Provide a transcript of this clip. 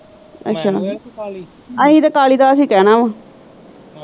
ਅੱਛਾ ਅਸੀਂ ਤਾਂ ਕਾਲੀਦਾਸ ਹੀ ਕਹਿਣਾ ਆ ।